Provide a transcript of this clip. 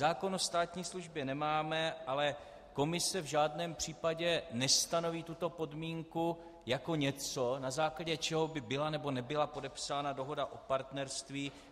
Zákon o státní službě nemáme, ale Komise v žádném případě nestanoví tuto podmínku jako něco, na základě čeho by byla nebo nebyla podepsána dohoda o partnerství.